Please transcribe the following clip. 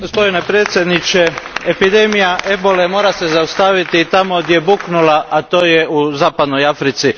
Gospodine predsjedniče, epidemija ebole mora se zaustaviti tamo gdje je buknula, a to je u zapadnoj Africi.